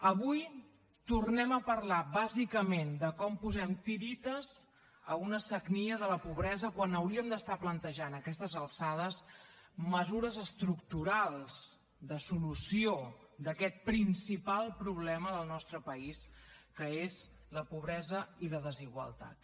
avui tornem a parlar bàsicament de com posem tiretes a una sagnia de la pobresa quan hauríem d’estar plantejant a aquestes alçades mesures estructurals de solució d’aquest principal problema del nostre país que és la pobresa i la desigualtat